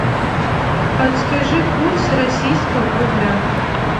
подскажи курс российского рубля